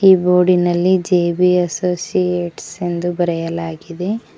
ಈ ಬೋರ್ಡ್ ನಲ್ಲಿ J B associates ಎಂದು ಬರೆಯಲಾಗಿದೆ.